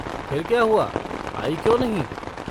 फिर क्या हुआ, आई क्यों नहीं?